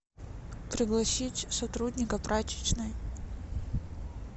пригласить сотрудника прачечной